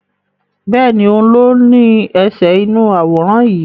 Bẹ́ẹ̀ni, òun ló ní ẹsẹ̀ inú àwòrán yìí